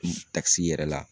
Takisi yɛrɛ la.